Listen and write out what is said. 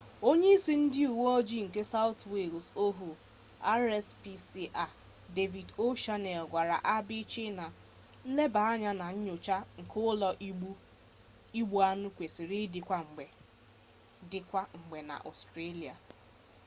onye-isi ndi uwe-oji nke south wales ohuu rspca david o'shannessy gwara abc na nleba-anya na nyocha nke ulo-igbu-anu kwesiri idi kwa-mgbe na australia